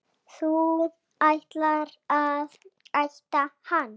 Þú ætlaðir að éta hana.